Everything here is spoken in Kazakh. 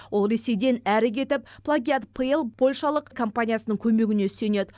ол ресейден әрі кетіп плагиат пл польшалық компаниясының көмегіне сүйенеді